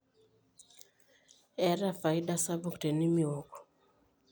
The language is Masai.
eeta faida sapuk tenimiok